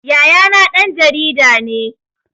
Yayana ɗan jarida ne